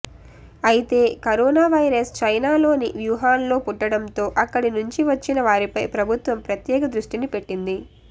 అయితే corona virus చైనాలోని వూహాన్లో పుట్టడంతో అక్కడి నుంచి వచ్చిన వారిపై ప్రభుత్వం ప్రత్యేక దృష్టిని పెట్టింది